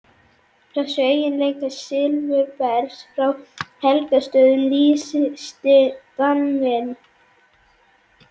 Þessum eiginleika silfurbergs frá Helgustöðum lýsti Daninn